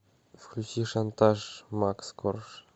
включи шантаж макс корж